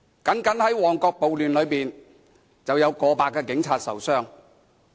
單是在旺角暴亂中，便有過百名警察受傷。